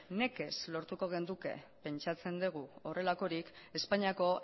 nekez lortuko genuke pentsatzen dugu horrelakorik espainiako